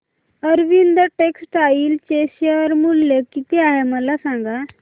Arvind textile चे share मूल्य किती आहे मला सांगा